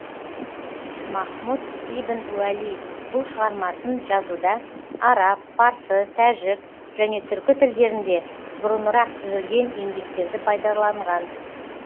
махмұд ибн уәли бұл шығармасын жазуда араб парсы тәжік және түркі тілдерінде бұрынырақ түзілген еңбектерді пайдаланған